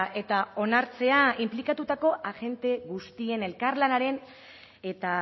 eta onartzea inplikatutako agente guztien elkarlanaren eta